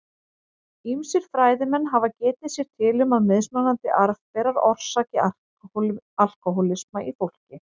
Ýmsir fræðimenn hafa getið sér til um að mismunandi arfberar orsaki alkóhólisma í fólki.